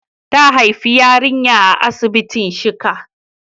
Ta haifi yarinya a asibitin shika.